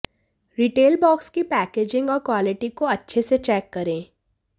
retail box की packaging और quality को अच्छे से चेक करें